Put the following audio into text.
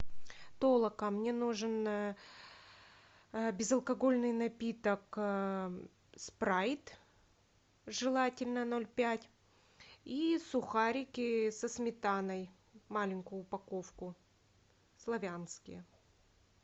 толока мне нужен безалкогольный напиток спрайт желательно ноль пять и сухарики со сметаной маленькую упаковку славянские